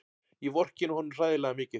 Ég vorkenni honum hræðilega mikið.